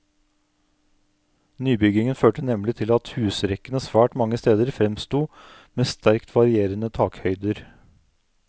Nybyggingen førte nemlig til at husrekkene svært mange steder fremsto med sterkt varierende takhøyder.